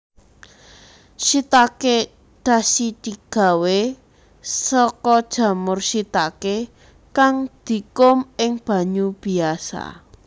Shiitake dashidigawé saka jamur shiitake kang dikum ing banyu biyasa